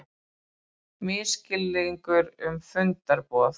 Misskilningur um fundarboð